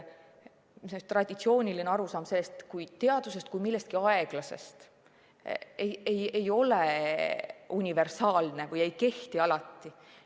Traditsiooniline arusaam teadusest kui millestki aeglasest, ei kehti alati.